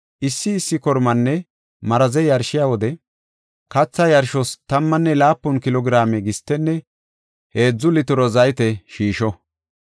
Issi issi kormanne maraze yarshiya wode, katha yarshos tammane laapun kilo giraame gistenne heedzu litiro zayte shiisho.